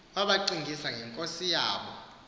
wabacingisa ngenkosi yabo